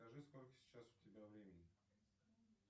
скажи сколько сейчас у тебя времени